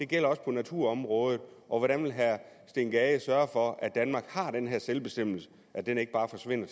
gælder på naturområdet og hvordan vil herre steen gade sørge for at danmark har den her selvbestemmelse og at den ikke bare forsvinder